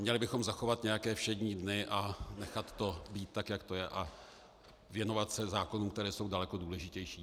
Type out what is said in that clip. Měli bychom zachovat nějaké všední dny a nechat to být tak, jak to je, a věnovat se zákonům, které jsou daleko důležitější.